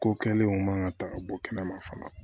Ko kɛlenw man ka ta ka bɔ kɛnɛma fana